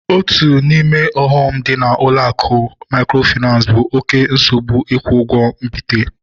Otu n'ime ọghọm dị na ụlọ akụ mikrofinansi bụ oké nsogbu ikwu ụgwọ mbite